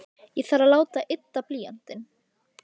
Ég þarf að láta ydda blýantinn.